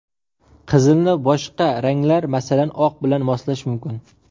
Qizilni boshqa ranglar, masalan, oq bilan moslash mumkin.